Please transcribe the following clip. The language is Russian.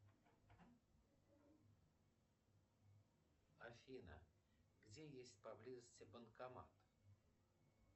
афина где есть поблизости банкомат